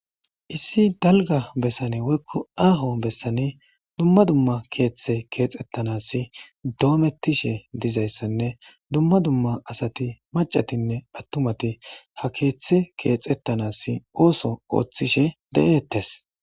Issi dalga bessani woykko aaho besaani dumma dumma keethey keexetanassi doometishe dizayssanne dumma dumma asati maccatinne attumati ha keethe keexetanasi ootho oothishe de'etees.